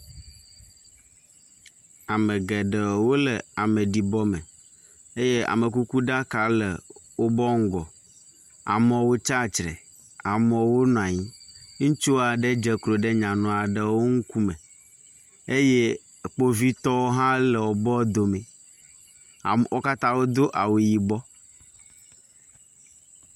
Ame geɖe wole ameɖibɔme eye amekukuɖaka le wònye ŋgɔ. Amewo tsatsre, amewo nɔ anyi, ŋutsu aɖe dze klo ɖe nyanu aɖewo wo ŋkume eye kpovitɔwo hã le wobe wo dome, amewo wo katã wodo awu yibɔ.